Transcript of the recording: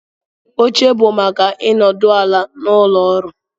Oche bụ maka ịnọdụ ala n'ụlọ ọrụ